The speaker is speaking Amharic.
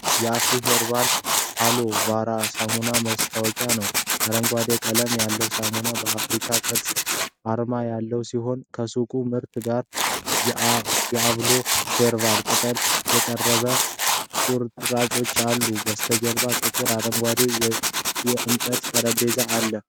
የአፍሪ ሄርባል አሎ ቬራ ሳሙና ማስታወቂያ ነው። አረንጓዴ ቀለም ያለው ሳሙና በአፍሪካ ቅርጽ አርማ ያለው ሲሆን ከሱቅ ምርቱ ጋር የአሎ ቬራ ቅጠሎችና የቅጠሉ ቁርጥራጮች አሉ። ከበስተጀርባ ጥቁር አረንጓዴ የእንጨት ጠረጴዛ አለ።